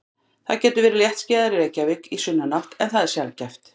Það getur verið léttskýjað í Reykjavík í sunnanátt en það er sjaldgæft.